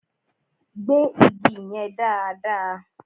Gbẹ́ igi yẹn dáàdaa!